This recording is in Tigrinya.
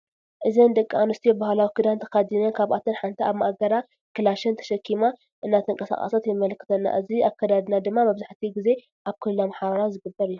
እዚኢኒ ደቂ አንስትዮ ባህላዊ ከዳን ተከዲነን ካብአተን ሓንቲ አብ ማእገራ ካላሽን ተሸኪማ እናተቀሳቀሰት የመላክተና እዚ አክዳድና ድማ መብዛሕቲ ግዜ አብ ክልል አምሓራ ዝግበር እዩ።